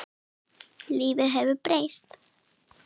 Lífið hefur breyst.